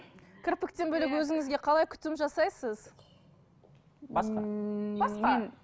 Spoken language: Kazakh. кірпіктен бөлек өзіңізге қалай күтім жасайсыз басқа басқа